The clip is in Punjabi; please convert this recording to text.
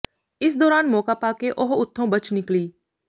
ਇਸ ਦੌਰਾਨ ਮੌਕਾ ਪਾ ਕੇ ਉਹ ਉਥੋਂ ਬਚ ਨਿਕਲੀ